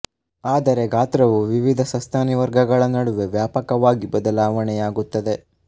ಆದರೆ ಗಾತ್ರವು ವಿವಿಧ ಸಸ್ತನಿ ವರ್ಗಗಳ ನಡುವೆ ವ್ಯಾಪಕವಾಗಿ ಬದಲಾವಣೆಯಾಗುತ್ತದೆ